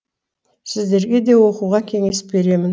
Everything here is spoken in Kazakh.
сіздерге де оқуға кеңес беремін